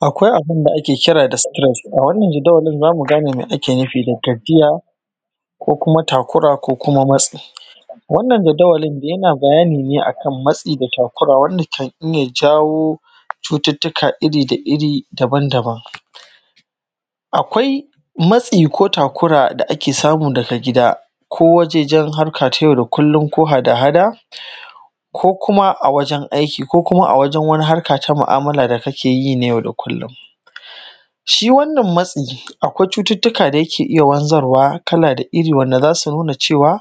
Akwai abin da ake kira da stress, a wannan jadawalin zamu gane abin da ake nufi da tafiya ko kuma takura ko kuma matsi. Wannan jadawalin yana bayani ne akan matsi da takura wanda kan iya jawo cututtuka iri da iri daban-daban. Akwai matsi ko takura da ake samu daga gida, ko wajejen harka ta yau da kullum ko hada-hada ko wajen aiki ko kuma a wajen harka ta mu'amala da kake yi na yau da kullum. Shi wannan matsi akwai cututtuka da yake iya wanzarwa kala da iri wanda za su nuna cewa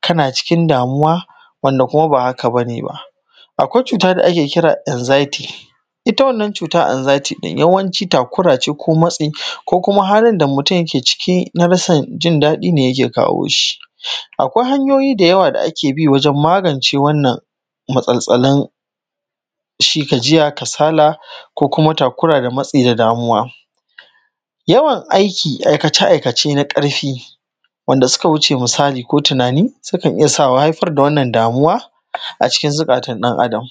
kana cikin damuwa wanda kuma ba haka bane ba. Akwai cuuta da ake kira anxiety ita wannan cuuta anxiety ɗin yawanci takura ce ko matsi ko kuma halin da mutum yake ciki na rashin jindaɗi ne yake kawo shi. Akwai hanyoyi dayawa da ake bi wajen magance wannan matsaltsalin shi gajiya, kasala, ko kuma takura da matsi da damuwa. Yawan aiki aikace-aikace na ƙarfi wanda suka wuce misali ko tunani sukan iya sa ko haifar da wannan damuwa a cikin zukatan ɗan-Adam.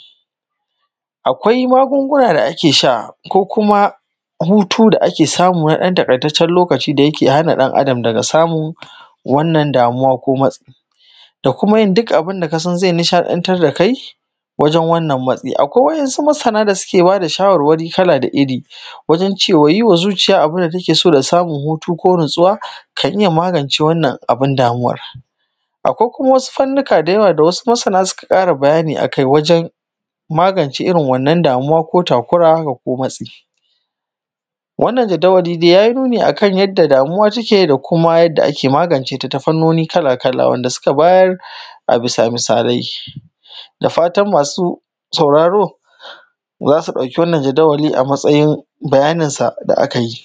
Akwai magunguna da ake sha ko kuma hutu da ake samu na ɗan takaitaccen lokaci da yake hana ɗan-Adam daga samuu wannan damuwa ko matsi da kuma yin duk abin da kasan zai nishaɗantar da kai wajen wannan matsi. Akwai wasu masana da suke ba da shawarwari kala da iri, wajen cewa yiwa zuciya abin da take so da samun hutu ko natsuwa kan iya magance wannan abin damuwar. Akwai kuma wasu fanni ka dayawa da wasu masana suka ƙara bayani a kai wajen magance irin wannan damuwa ko takura haka ko matsi. Wannan jadawali dai ya yi nuni akan yadda damuwa take da kuma yadda ake magance ta ta fannoni kala-kala wanda suka bayar a bisa misalai. Dafatan masu sauraro za su ɗauki wannan jadawali a matsayin bayaninsa da aka yi.